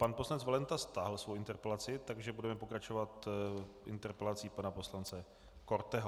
Pan poslanec Valenta stáhl svoji interpelaci, takže budeme pokračovat interpelací pana poslance Korteho.